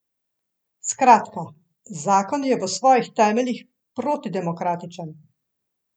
Skratka, zakon je v svojih temeljih protidemokratičen.